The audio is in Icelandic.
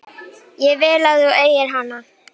Ég vil að þú eigir hana.